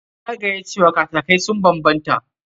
Ya gaya cewa kataki sun banbanta.